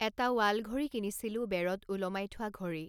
এটা ৱাল ঘড়ী কিনিছিলোঁ বেৰত ওলমাই থোৱা ঘড়ী